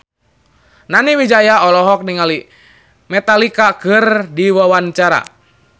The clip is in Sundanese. Nani Wijaya olohok ningali Metallica keur diwawancara